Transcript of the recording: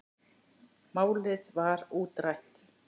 Málið var útrætt.